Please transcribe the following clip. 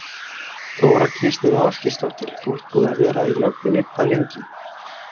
Þóra Kristín Ásgeirsdóttir: Þú ert búinn að vera í löggunni hvað lengi?